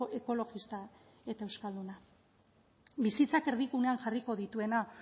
ekologista eta euskalduna bizitzak erdigunean jarriko dituena